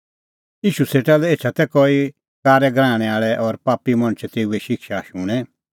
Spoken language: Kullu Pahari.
ईशू सेटा लै एछा तै कई कारै गराहणै आल़ै और पापी मणछ तेऊए शिक्षा शूणैं